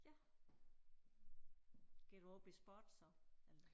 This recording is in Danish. Ja går du op i sport så eller